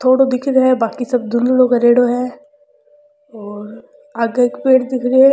थोड़ो दिख रो है बाकी सब धुंधला करेड़ा है और आगे एक पेड़ दिख रो है।